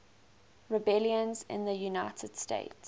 rebellions in the united states